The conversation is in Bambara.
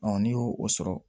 n'i y'o o sɔrɔ